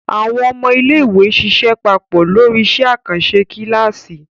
Àwọn ọmọ iléèwé ṣiṣẹ́ papọ̀ lórí iṣẹ́ àkànṣe kíláàsì